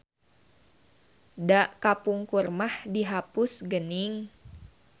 Da kapungkur mah dihapus geuning.